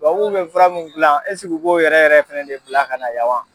Tubabuw bɛ fara min gilan esigi u b'o yɛrɛ yɛrɛ fɛnɛ de bila ka na yan wa.